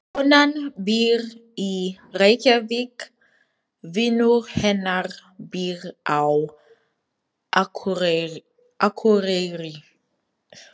Konan býr í Reykjavík. Vinur hennar býr á Akureyri.